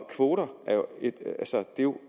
kvoter er jo et